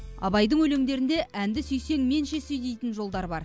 абайдың өлеңдерінде әнді сүйсең менше сүй дейтін жолдар бар